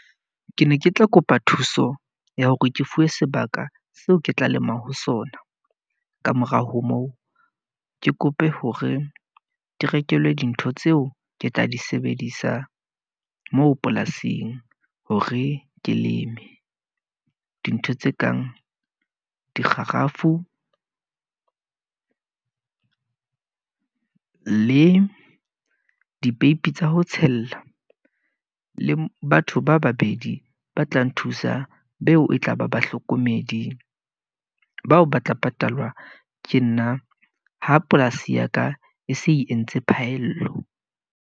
Ke ne ke tla kopa thuso ya hore ke fuwe sebaka seo ke tla lemang ho sona. Ka morao ho moo, ke kope hore ke rekelwe dintho tseo ke tla di sebedisang moo polasing hore ke leme. Dintho tse kang dikgarafu le dipeipi tsa ho tshella. Le batho ba babedi ba tla nthusa beo e tlaba bahlokomedi bao ba tla patalwa ke nna ha polasi ya ka e se e entse phaello.